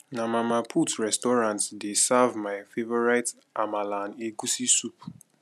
na mama put restaurant dey serve my favorite amala and egusi soup